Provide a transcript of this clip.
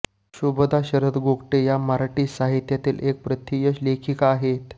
शुभदा शरद गोगटे या मराठी साहित्यातील एक प्रथितयश लेखिका आहेत